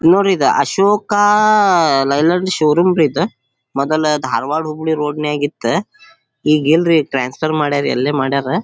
ನೋಡ್ರಿ ಈದ್ Ashok Leyland showroom ರಿ ಈದ್ ಮೊದಲ ಧಾರವಾಡ ಹುಬ್ಳಿ ರೋಡ್ ನಾಗ್ ಇತ್ತ ಈಗ್ ಏನ್ ರೀ ಟ್ರಾನ್ಸ್ಫರ್ ಮಾಡರ್ ಎಲ್ಲಿ ಮಾಡರ್.